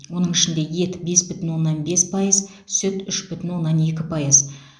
оның ішінде ет бес бүтін оннан бес пайыз сүт үш бүтін оннан екі пайыз